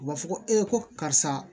U b'a fɔ ko e ko karisa